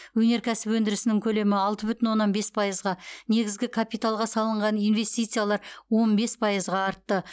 өнеркәсіп өндірісінің көлемі алты бүтін оннан бес пайызға негізгі капиталға салынған инвестициялар он бес пайызға артты